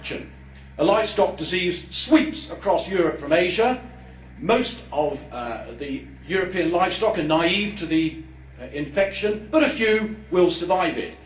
Imagine a livestock disease sweeps across Europe from Asia, most of European livestock are naive to the infection, but a few will survive it.